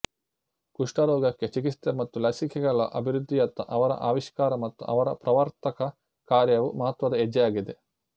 ಕುಷ್ಠರೋಗಕ್ಕೆ ಚಿಕಿತ್ಸೆ ಮತ್ತು ಲಸಿಕೆಗಳ ಅಭಿವೃದ್ಧಿಯತ್ತ ಅವರ ಆವಿಷ್ಕಾರ ಮತ್ತು ಅವರ ಪ್ರವರ್ತಕ ಕಾರ್ಯವು ಮಹತ್ವದ ಹೆಜ್ಜೆಯಾಗಿದೆ